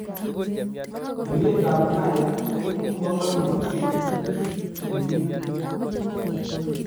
Oinee ab Nile ko ibu mokornotee eng biiik